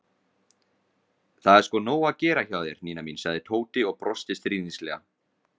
Það er sko nóg að gera hjá þér, Nína mín sagði Tóti og brosti stríðnislega.